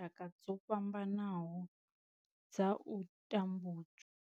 Tshaka dzo fhambanaho dza u tambudzwa.